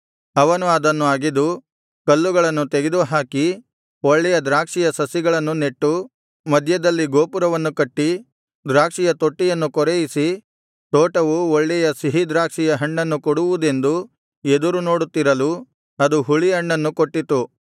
ಅವನು ಅದನ್ನು ಅಗೆದು ಕಲ್ಲುಗಳನ್ನು ತೆಗೆದುಹಾಕಿ ಒಳ್ಳೆಯ ದ್ರಾಕ್ಷಿಯ ಸಸಿಗಳನ್ನು ನೆಟ್ಟು ಮಧ್ಯದಲ್ಲಿ ಗೋಪುರವನ್ನು ಕಟ್ಟಿ ದ್ರಾಕ್ಷಿಯ ತೊಟ್ಟಿಯನ್ನು ಕೊರೆಯಿಸಿ ತೋಟವು ಒಳ್ಳೆಯ ಸಿಹಿ ದ್ರಾಕ್ಷಿಯ ಹಣ್ಣನ್ನು ಕೊಡುವುದೆಂದು ಎದುರುನೋಡುತ್ತಿರಲು ಅದು ಹುಳಿ ಹಣ್ಣನ್ನು ಕೊಟ್ಟಿತು